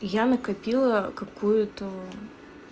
я накопила какую-то